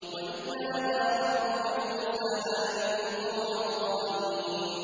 وَإِذْ نَادَىٰ رَبُّكَ مُوسَىٰ أَنِ ائْتِ الْقَوْمَ الظَّالِمِينَ